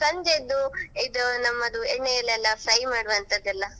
ಸಂಜೆಯಿದ್ದು ಇದು ನಮ್ಮದು ಎಣ್ಣೆಯಲ್ಲೆಲ್ಲ fry ಮಾಡುವಂತದೆಲ್ಲಾ.